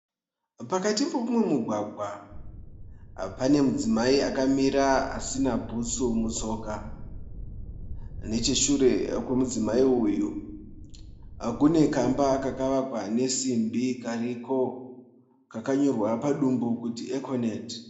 Pakati peumwe mugwagwa pane mudzimai akamira asina bhutsu mutsoka, necheshure kwemudzimai uyu kune kamba kakavakwa nesimbi kariko kakanyorwa padumbu kuti econet.